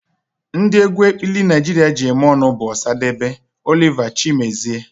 Ndị egwu ekpili Naijiria ji eme ọnụ bụ osadebe, Oliver, chimezie